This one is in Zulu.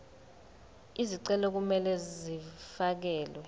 izicelo kumele zifakelwe